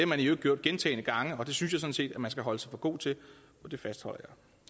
man i øvrigt gjort gentagne gange og det synes jeg sådan set man skal holde sig for god til og det fastholder